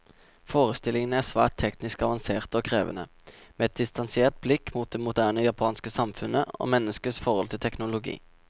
Forestillingene er svært teknisk avanserte og krevende, med et distansert blikk på det moderne japanske samfunnet, og menneskets forhold til teknologi.